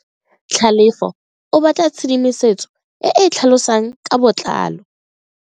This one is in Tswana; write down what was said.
Tlhalefo o batla tshedimosetso e e tlhalosang ka botlalo.